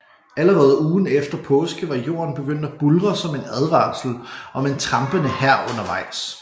Allerede ugen efter påske var jorden begyndt at buldre som en advarsel om en trampende hær undervejs